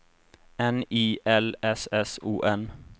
N I L S S O N